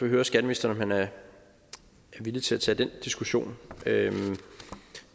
høre skatteministeren om han er villig til at tage den diskussion